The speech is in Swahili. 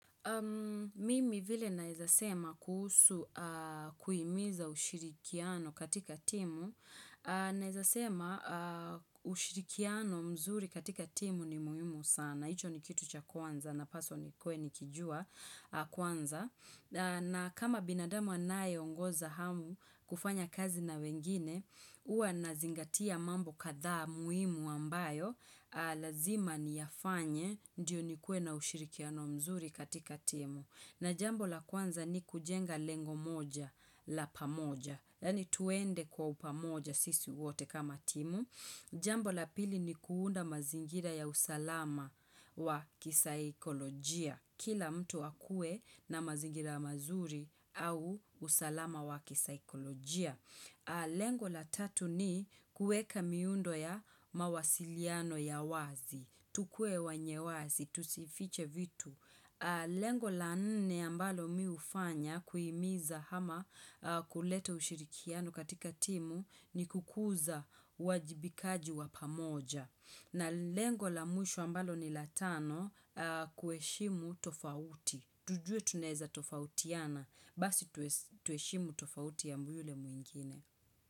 Mimi vile nawezasema kuhusu kuimiza ushirikiano katika timu. Nawezasema ushirikiano mzuri katika timu ni muhimu sana. Hicho ni kitu cha kwanza, napaswa nikuwe nikijua kwanza na kama binadamu anayeongoza au kufanya kazi na wengine, huwa nazingatia mambo kathaa muhimu ambayo, lazima niyafanye, ndio nikuwe na ushirikiano mzuri katika timu. Na jambo la kwanza ni kujenga lengo moja la pamoja, yaani twende kwa upamoja sisi wote kama timu. Jambo la pili ni kuunda mazingira ya usalama wa kisaikolojia. Kila mtu akue na mazingira ya mazuri au usalama wa kisaikolojia. Lengo la tatu ni kuweka miundo ya mawasiliano ya wazi. Tukue wanye wazi, tusifiche vitu. Lengo la nne ambalo mimi hufanya kuhimiza ama kuleta ushirikiano katika timu ni kukuza uwajibikaji wa pamoja na lengo la mwisho ambalo ni la tano kuheshimu utofauti tujue tunaweza tofautiana basi tuheshimu tofauti ya mtu yule mwingine.